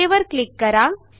okay वर click करा